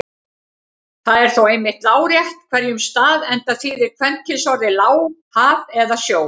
Það er þó einmitt lárétt á hverjum stað enda þýðir kvenkynsorðið lá haf eða sjór.